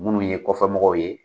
Munnu ye kɔfɛmɔgɔw ye.